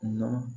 Nka